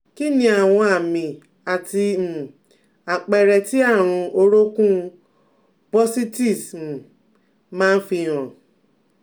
Kí ni àwọn àmì àti um àpere tí àrùn orokun bursitis um ma n fi han?